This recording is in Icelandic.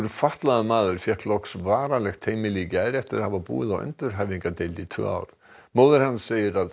fatlaður maður fékk loks varanlegt heimili í gær eftir að hafa búið á endurhæfingardeild í tvö ár móðir hans segir að